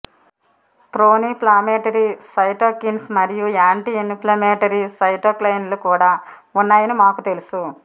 pro-inflammatory cytokines మరియు anti inflammatory సైటోకైన్లు కూడా ఉన్నాయని మాకు తెలుసు